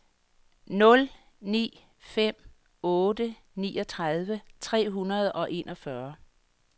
nul ni fem otte niogtredive tre hundrede og enogfyrre